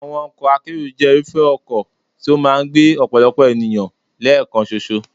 Àwọn ọkọ̀ akérò jẹ́ irúfẹ́ ọkọ̀ tó máa ń gbé ọ̀pọ̀lọpọ̀ ènìyàn lẹ́ẹ̀kan ṣoṣo.